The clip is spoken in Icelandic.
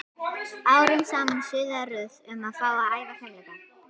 Árum saman suðaði Ruth um að fá að æfa fimleika.